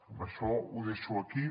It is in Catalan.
amb això ho deixo aquí